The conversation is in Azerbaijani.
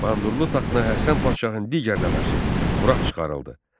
Bayandurlu taxtına Həsən Padşahın digər nəvəsi Murad çıxarıldı.